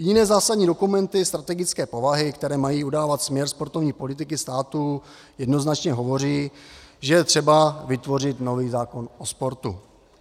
Jiné zásadní dokumenty strategické povahy, které mají udávat směr sportovní politiky státu, jednoznačně hovoří, že je třeba vytvořit nový zákon o sportu.